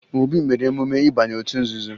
Obi mere emume ịbanye otu nzuzo